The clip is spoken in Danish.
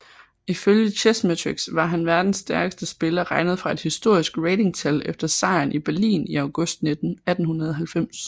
Ifølge Chessmetrics var han verdens stærkeste spiller regnet fra et historisk ratingtal efter sejren i Berlin i august 1890